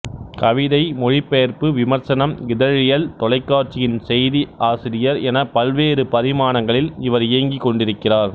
கவிதை மொழிபெயர்ப்பு விமர்சனம் இதழியல் தொலைக்காட்சியின் செய்தி ஆசிரியர் எனப் பல்வேறு பரிமாணங்களில் இவர் இயங்கிக்கொண்டிருக்கிறார்